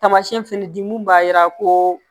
Tamasiyɛn fɛnɛ di mun b'a jira ko